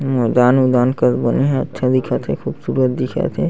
मैदान वैदान कस बने हे अच्छा दिखत हे खूबसूरत दिखत हे।